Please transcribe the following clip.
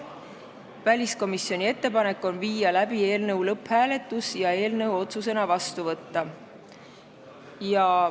Teiseks, väliskomisjoni ettepanek on viia läbi eelnõu lõpphääletus ja eelnõu otsusena vastu võtta.